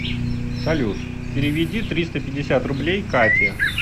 салют переведи триста пятьдесят рублей кате